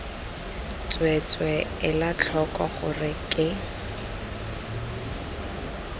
tsweetswee ela tlhoko gore ke